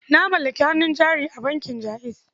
Na mallaki hannun jari a bankin Jaiz.